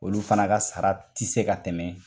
Olu fana ka sara ti se ka tɛmɛ